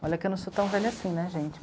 Olha que eu não sou tão velha assim, né, gente?